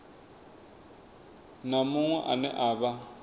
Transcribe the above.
na muṅwe ane a vha